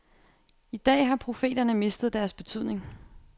I dag har profeterne mistet deres betydning.